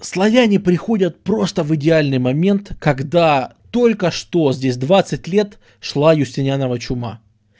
славяне приходят просто в идеальный момент когда только что здесь двадцать лет шла юстинианова чума